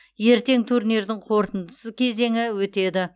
ертең турнирдің қорытындысы кезеңі өтеді